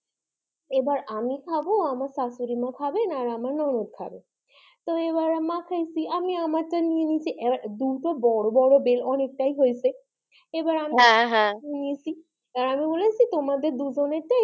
এবার আমি খাবো আমার শাশুড়িমা খাবেন আর আমার ননদ খাবে তো এবার মাখাইছি আমি আমারটা নিয়ে নিয়েছি এবার দুটো বড়ো বড়ো বেল অনেকটাই হয়েছে এবার আমি হ্যাঁ হ্যাঁ নিয়েছি এবার আমি বলেছি তোমাদের দুজনের টাই,